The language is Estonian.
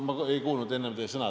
Ma ei kuulnud enne üht teie sõna.